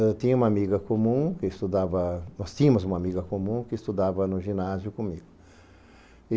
Eu tinha uma amiga comum que estudava... Nós tínhamos uma amiga comum que estudava no ginásio comigo.